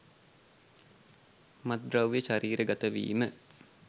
මත්ද්‍රව්‍ය ශරීරගත වීම